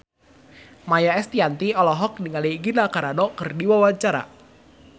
Maia Estianty olohok ningali Gina Carano keur diwawancara